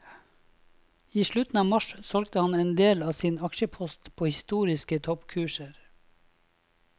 I slutten av mars solgte han en del av sin aksjepost på historiske toppkurser.